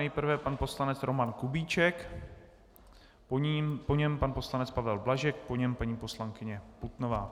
Nejprve pan poslanec Roman Kubíček, po něm pan poslanec Pavel Blažek, po něm paní poslankyně Putnová.